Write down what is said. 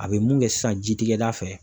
A bɛ mun kɛ sisan jitigɛda fɛ.